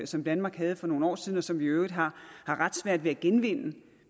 som danmark havde for nogle år siden og som vi i øvrigt har ret svært ved at genvinde